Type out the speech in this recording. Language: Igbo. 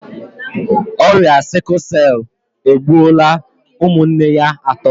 Ọrịa 'sickle cell' egbuola ụmụnne ya atọ